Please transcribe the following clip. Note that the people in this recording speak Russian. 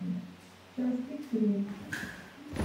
час пик три